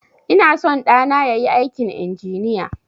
Ina son ɗana yayi aikin injiniya